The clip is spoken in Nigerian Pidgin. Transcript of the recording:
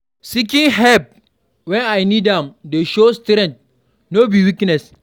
Seeking help wen I need am dey show strength, no be weakness.